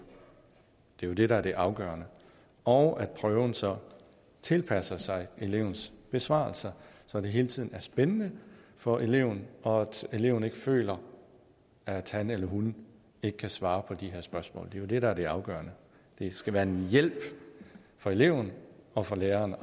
det er jo det der er det afgørende og at prøven så tilpasser sig elevens besvarelser så det hele tiden er spændende for eleven og så eleven ikke føler at han eller hun ikke kan svare på de her spørgsmål det er jo det der er det afgørende det skal være en hjælp for eleven og for læreren